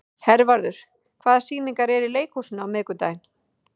Hervarður, hvaða sýningar eru í leikhúsinu á miðvikudaginn?